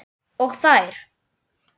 Og þær.